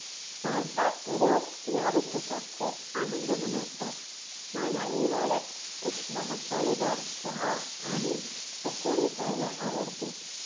भारतात लोक या ऋतूचा खूप आनंद मनवतात. मला हिवाळ्यात उष्ण मसालेदार चहा आणि पकोडे खयायला आवडते.